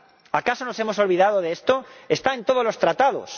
¿Acaso nos hemos olvidado de esto? ¡Está en todos los Tratados!